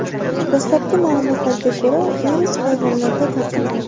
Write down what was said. Dastlabki ma’lumotlarga ko‘ra, virus hayvonlardan tarqalgan.